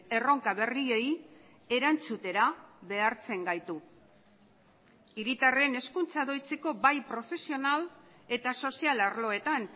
erronka berriei erantzutera behartzen gaitu hiritarren hezkuntza doitzeko bai profesional eta sozial arloetan